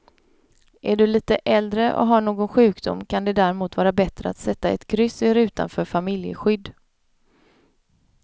Är du lite äldre och har någon sjukdom kan det därmot vara bättre att sätta ett kryss i rutan för familjeskydd.